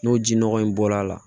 N'o ji nɔgɔ in bɔl'a la